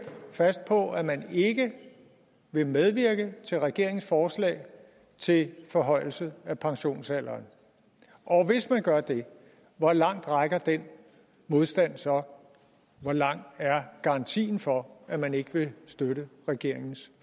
fast på at man ikke vil medvirke til regeringens forslag til forhøjelse af pensionsalderen og hvis man gør det hvor langt rækker den modstand så hvor lang er garantien for at man ikke vil støtte regeringens